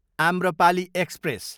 Amrapali express